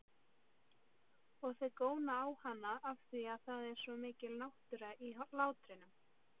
Og þau góna á hana afþvíað það er svo mikil náttúra í hlátrinum.